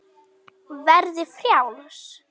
Verði frjáls.